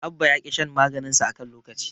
Abba ya ƙi shan maganinsa a kan lokaci.